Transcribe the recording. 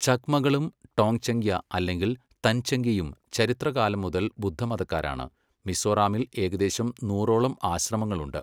ചക്മകളും ടോങ്ചംഗ്യ അല്ലെങ്കിൽ തൻചംഗ്യയും ചരിത്രകാലം മുതൽ ബുദ്ധമതക്കാരാണ്, മിസോറാമിൽ ഏകദേശം നൂറോളം ആശ്രമങ്ങളുണ്ട്.